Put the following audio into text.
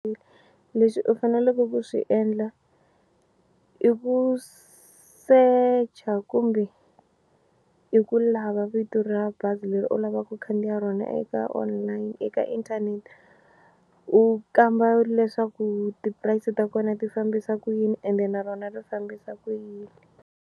Leswi u faneleke ku swi endla i ku secha kumbe i ku lava vito ra bazi leri u lavaka ku khandziya rona eka online eka internet u kamba leswaku ti price ta kona ti fambisa ku yini ende na rona ri fambisa ku yini.